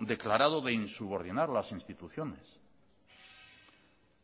declarado de insubordinar las instituciones